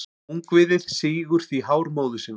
Ungviðið sýgur því hár móður sinnar.